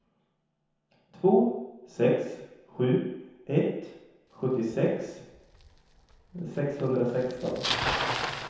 två sex sju ett sjuttiosex sexhundrasexton